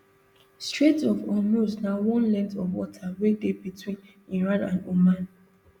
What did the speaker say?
strait of hormuz na one length of water wey dey between iran and oman